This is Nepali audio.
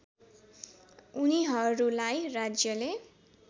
उनीहरूलाई राज्यले